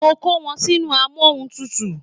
Mo kó wọn sínú amóhuntùtù